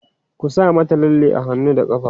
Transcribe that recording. ku sa mata lalle a hannu da ƙafa!